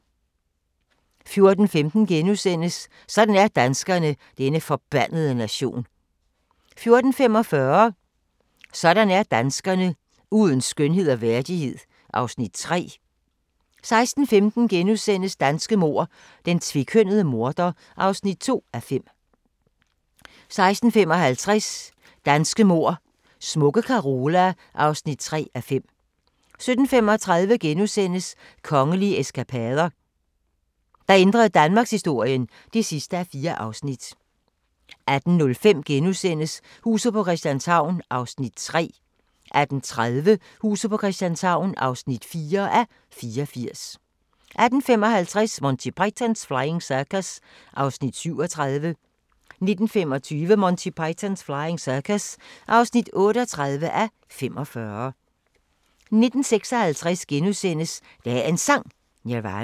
14:15: Sådan er danskerne: Denne forbandede nation * 14:45: Sådan er danskerne: Uden skønhed og værdighed (Afs. 3) 16:15: Danske mord: Den tvekønnede morder (2:5)* 16:55: Danske mord: Smukke Carola (3:5) 17:35: Kongelige Eskapader – der ændrede danmarkshistorien (4:4)* 18:05: Huset på Christianshavn (3:84)* 18:30: Huset på Christianshavn (4:84)* 18:55: Monty Python's Flying Circus (37:45) 19:25: Monty Python's Flying Circus (38:45) 19:56: Dagens Sang: Nirvana *